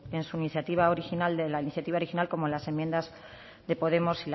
en su iniciativa original de la iniciativa original como en las enmiendas de podemos